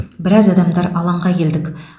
біраз адамдар алаңға келдік